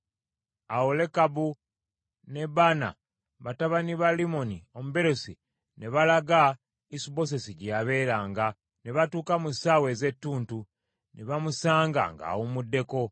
Awo Lekabu ne Baana batabani ba Limmoni Omubeerosi, ne balaga Isubosesi gye yabeeranga, ne batuuka mu ssaawa ez’etuntu, ne bamusanga ng’awummuddeko.